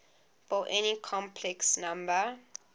for any complex number